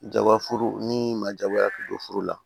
Jaba furu ni ma jagoya k'i don furu la